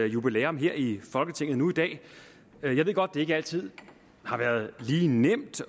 jubilæum her i folketinget nu i dag jeg ved godt at det ikke altid har været lige nemt